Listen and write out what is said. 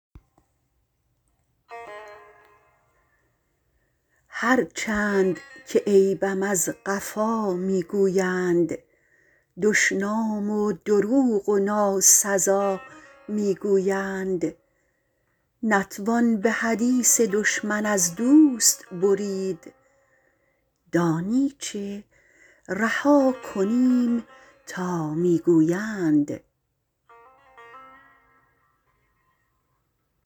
هر چند که عیبم از قفا می گویند دشنام و دروغ و ناسزا می گویند نتوان به حدیث دشمن از دوست برید دانی چه رها کنیم تا می گویند